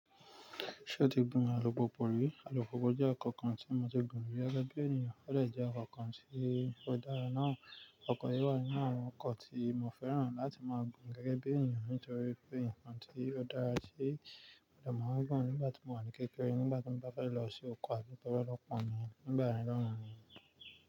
Ṣé o ti gbìn alupupu rí? Alupupu jẹ́ ọkọ̀ kan tí mo ti gbìn rí gẹ́gẹ́ bí ènìyàn, ó lè jẹ́ ọkọ̀ kan tí ó dára náà. Ọkọ̀ yìí wà nínú àwọn ọkọ̀ tí mo fẹ́ràn láti máa gbìn gẹ́gẹ́ bí ènìyàn nítorí pé nǹkan tí ó dára tí mo máa ń gbìn nígbà tí mo wà ní kékeré nígbà tí mo bá fẹ́ lọ sí oko àti lọ́wọ́ ọlọ́ọ̀pá mi nígbà mìíràn ni.